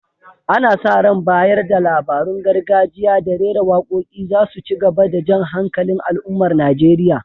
Ana sa ran bayar da labarun gargajiya da rera waƙoƙi za su ci gaba da jan hankalin al’ummar Najeriya.